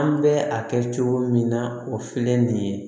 An bɛ a kɛ cogo min na o filɛ nin ye